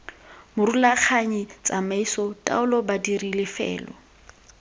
morulaganyi tsamaiso taolo badiri lefelo